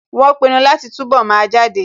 Wọ́n pinu láti túnbọ̀ máa jáde